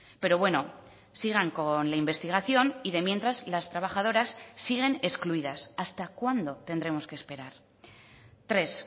pero bueno sigan con la investigación y de mientras las trabajadoras siguen excluidas hasta cuándo tendremos que esperar tres